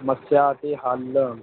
ਸਮੱਸਿਆ ਅਤੇ ਹੱਲ,